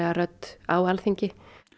rödd á Alþingi